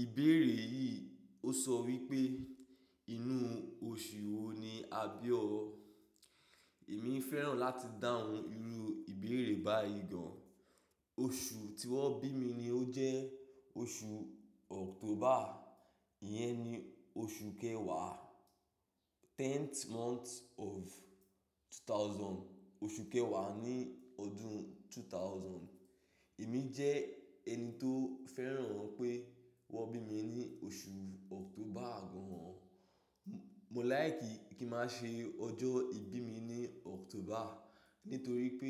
Ìbéèrè yìí ó sọ wípé inú oṣù wo ni a bí ọ? Èmi fẹ́ràn láti dáhùn irú ìbéèrè báyìí gan. Oṣù tí wón bí mi ni ó jẹ́ oṣù October, ìyẹn ni oṣù kẹwàá. Tenth month of two thousand. Oṣù kẹwàá ní ọdún two thousand. Èmi jẹ́ ẹni tó fẹ́ràn pé wón bí mi ní oṣù October gan. Mo like kin máa ṣe ọjọ́ ìbí mi ní October nítorí pé